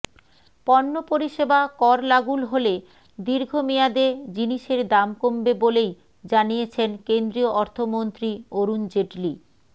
পণ্য পরিষেবা কর লাগুল হলে দীর্ঘমেয়াদে জিনিসের দাম কমবে বলেই জানিয়েছেন কেন্দ্রীয় অর্থমন্ত্রী অরুণ জেটলি